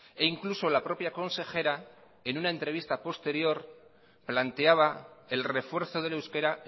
e incluso la propia consejera en una entrevista posterior planteaba el refuerzo del euskera